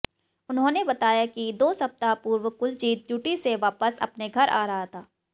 उन्होंने बताया कि दो सप्ताह पूर्व कुलजीत ड्यूटी से वापस अपने घर आ रहा था